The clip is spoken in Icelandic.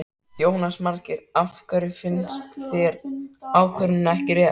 Jónas Margeir: Af hverju finnst þér ákvörðunin ekki rétt?